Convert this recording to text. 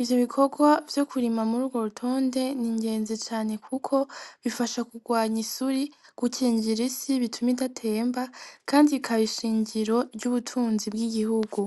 ivyo bikorwa vyo kurima muri ro rutonde ni ingenzi cane, kuko bifasha kurwanya isuri gukinjira isi bituma idatemba, kandi bikaba ishinjiro ry'ubutunzi bw'igihugu.